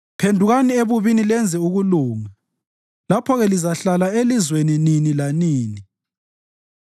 Phendukani ebubini lenze ukulunga lapho-ke lizahlala elizweni nini lanini.